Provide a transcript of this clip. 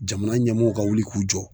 Jamana ɲɛmɔɔw ka wuli k'u jɔ